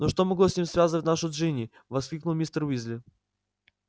но что могло с ним связывать нашу джинни воскликнул мистер уизли